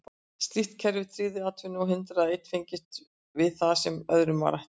Slíkt kerfi tryggði atvinnu og hindraði að einn fengist við það sem öðrum var ætlað.